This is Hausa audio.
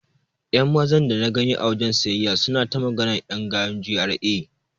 Ƴan Mazan dana gani a wajen siyayya suna ta maganar ƴan gayun GRA.